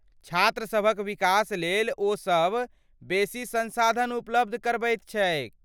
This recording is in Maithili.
छात्रसभक विकास लेल ओ सभ बेसी संसाधन उपलब्ध करबैत छैक।